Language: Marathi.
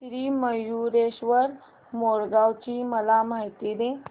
श्री मयूरेश्वर मोरगाव ची मला माहिती दे